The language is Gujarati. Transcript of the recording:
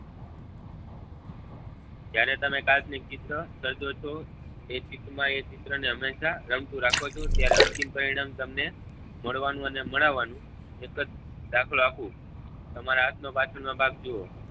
જયારે તમે કાલ્પનિક ચિત્ર સર્જો છો એ ચિત માં એ ચિત્ર ને હમેશા રમતું રાખો છો ત્યારે અંતિમ પરિણામ તમને મળવા નું અને મળાવવા નું એક જ દાખલો આપુ તમારા હાથ નો બાજુ નો ભાગ જોવો